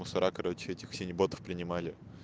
мусора короче этих все еботов принимали